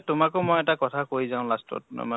তোমাকো মই এটা কথা যাওঁ last ত মানে